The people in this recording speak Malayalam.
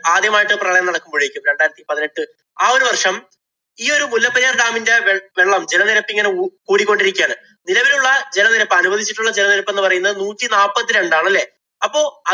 ആദ്യമായിട്ട് പ്രളയം നടക്കുമ്പോഴേക്കും രണ്ടായിരത്തി പതിനെട്ട് ആ ഒരു വര്‍ഷം ഈ ഒരു മുല്ലപ്പെരിയാര്‍ dam ഇന്‍റെ വെ~വെള്ളം ജലനിരപ്പ് ഇങ്ങനെ കൂടി കൊണ്ടിരിക്കുകയാണ്. നിലവിലുള്ള ജലനിരപ്പ്‌ അനുവദിച്ചിട്ടുള്ള ജലനിരപ്പ്‌ എന്ന് പറയുന്നത് നൂറ്റിനാപ്പത്തിരണ്ടാണ് അല്ലേ?